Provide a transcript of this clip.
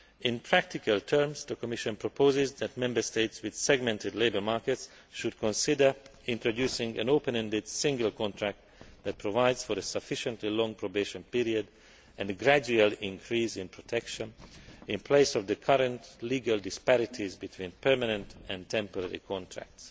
In practical terms, the Commission proposes that Member States with segmented labour markets should consider introducing an open ended single contract that provides for a sufficiently long probation period and a gradual increase in protection in place of the current legal disparities between permanent and temporary contracts.